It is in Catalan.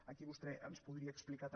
aquí vostè ens podria explicar també